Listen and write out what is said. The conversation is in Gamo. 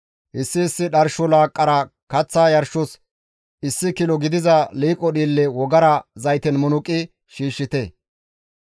Issi issi dharsho laaqqara kaththa yarshos issi kilo gidiza liiqo dhiille wogara zayten munuqi shiishshite.